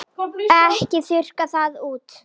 Bestu konu í heimi.